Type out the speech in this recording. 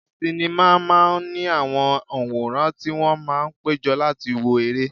Sinima máa ń ní àwọn onworan tí wón máa ń péjọ láti wo ere.